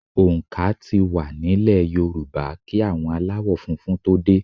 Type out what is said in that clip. Òǹkà tí wá nílè Yorùbá kí àwọn aláwò funfun tó dè.